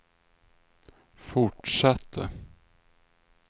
fortsatte